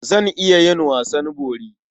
Zan iya yin wasan bori.